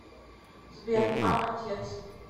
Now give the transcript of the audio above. сбер а отец